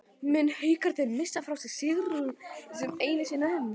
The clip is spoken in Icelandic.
Munu Haukarnir missa frá sér sigurinn, enn einu sinni???